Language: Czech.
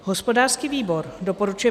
Hospodářský výbor doporučuje